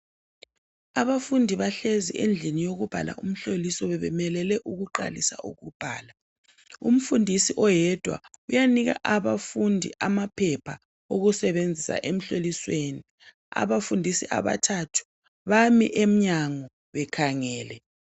Abafundi bahlezi endlini yokubhala umhloliso bebemelele ukuqalisa ukubhala. Umfundisi oyedwa uyanika abafundi amaphepha ukusebenzisa emhlolisweni. Abafundisi abathathu bami emnyango bekhangele.